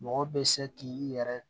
Mɔgɔ bɛ se k'i yɛrɛ